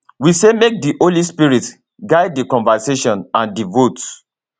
we say make di holy spirit guide di conversation and di vote